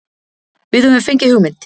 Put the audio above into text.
Við höfum fengið hugmynd.